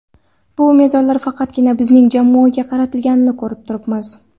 Bu mezonlar faqatgina bizning jamoaga qaratilganini ko‘rib turibmiz.